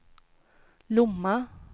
Lomma